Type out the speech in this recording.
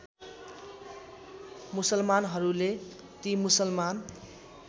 मुसलमानहरूले ति मुसलमान